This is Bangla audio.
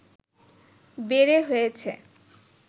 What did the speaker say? বেড়ে হয়েছে